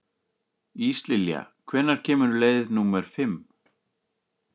Íslilja, hvenær kemur leið númer fimm?